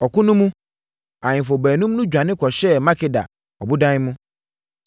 Ɔko no mu, ahemfo baanum no dwane kɔhyɛɛ Makeda ɔbodan mu.